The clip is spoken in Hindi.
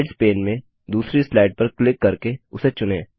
स्लाइड्स पैन में दूसरी स्लाइड पर क्लिक करके उसे चुनें